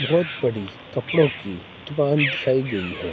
बहोत बड़ी कपड़ों की दुकान दिखाई गई है।